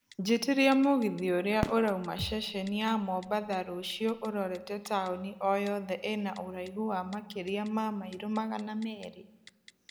njĩtiria mũgithi ũrĩa ũrauma ceceni ya mombatha rũcio ũrorete taũni o yothe ĩna ũraihũ wa makĩria ma mairo magana merĩ